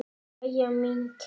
Jæja, mín kæra.